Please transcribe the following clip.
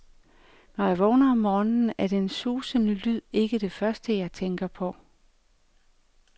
Når jeg vågner om morgenen, er den susende lyd ikke det første, jeg tænker på.